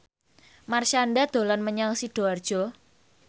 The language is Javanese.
Marshanda dolan menyang Sidoarjo